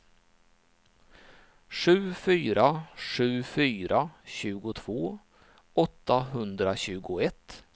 sju fyra sju fyra tjugotvå åttahundratjugoett